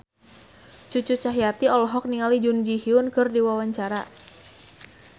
Cucu Cahyati olohok ningali Jun Ji Hyun keur diwawancara